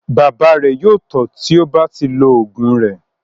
Bàbá rẹ̀ yóò tọ́ tí ó bá ti lo oògùn rẹ̀.